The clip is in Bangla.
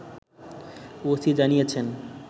ওসি জানিয়েছেন